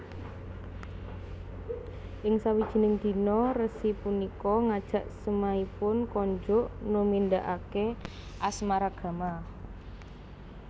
Ing sawijining dina resi punika ngajak semahipun konjuk numindakake asmaragama